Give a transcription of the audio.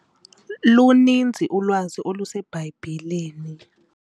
Luninzi ulwazi oluseBhayibhileni.